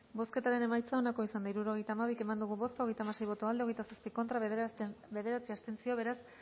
bozketaren emaitza onako izan da hirurogeita hamabi eman dugu bozka hogeita hamasei boto aldekoa hogeita zazpi contra bederatzi abstentzio beraz